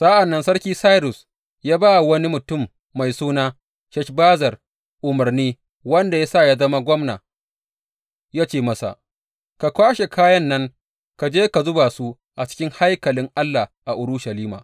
Sa’an nan sarki Sairus ya ba wa wani mutum mai suna Sheshbazzar umarni wanda ya sa ya zama gwamna, ya ce masa, Ka kwashe kayan nan ka je ka zuba su a cikin haikalin Allah a Urushalima.